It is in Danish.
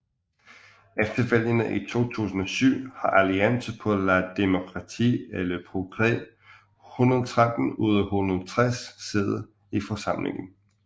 Efter valgene i 2007 har Alliance pour la démocratie et le progrès 113 ud af 160 sæder i forsamlingen